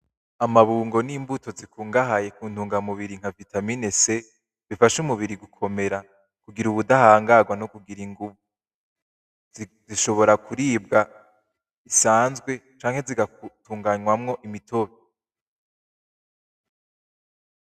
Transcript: Amabungo n,imbuto zikungahaye kuntungamubiri nka Vitamin C ifasha umubiri gukomera kugira ubudahangagwa no kugira inguvu zishobora kuribwa bisanzwe canke zigatunganywamo imitobe .